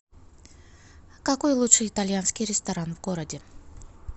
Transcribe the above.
какой лучший итальянский ресторан в городе